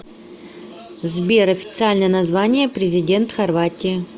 сбер официальное название президент хорватии